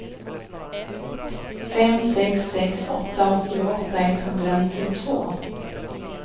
fem sex sex åtta åttioåtta etthundranittiotvå